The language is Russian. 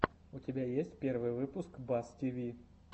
у тебя есть первый выпуск бас тиви